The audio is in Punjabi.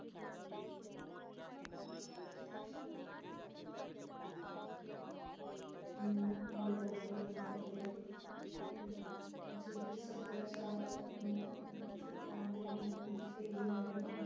ਨੂੰ ਵਡਾਉਂਦੇ ਹਨ ਅਤੇ ਆਹ ਅਜਿਹੇ ਸੱਭਿਆਚਾਰ ਨੂੰ ਛੁਟਾਉਂਦੇ ਹਨ ਉੱਥੇ ਹੀ ਨਵੇਂ